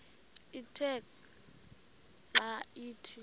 ithe xa ithi